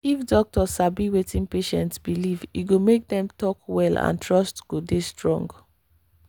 if doctor sabi wetin patient believe e go make dem talk well and trust go dey strong.